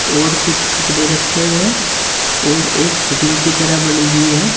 और कुछ कपड़े रखे हुए हैं और एक फिटिंग की तरह बनी हुई है।